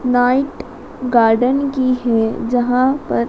night garden की है जहां पर--